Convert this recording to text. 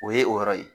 O ye o yɔrɔ ye